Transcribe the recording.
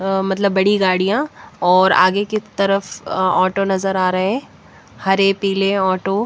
मतलब बड़ी गाड़ियाँ और आगे की तरफ ऑटो नज़र आ रहे हैं हरे पीले ऑटो ।